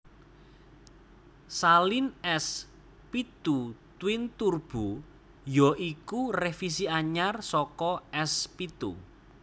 Saleen S pitu Twin Turbo ya iku revisi anyar saka S pitu